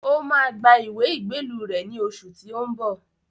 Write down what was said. Ó máa gba ìwé ìgbélú rẹ̀ ní oṣù tí ó ń bọ̀